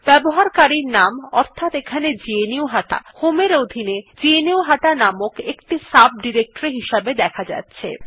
ব্যবহারকারীর নাম অর্থাৎ এখানে গ্নুহাটা home এর অধীনে গ্নুহাটা নামক একটি সাব ডিরেক্টরী হিসাবে দেখা যাচ্ছে